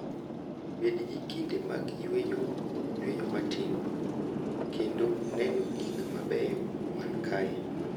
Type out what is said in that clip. Bed gi kinde mag yueyo, yueyo matin, kendo neno gik mabeyo man kae.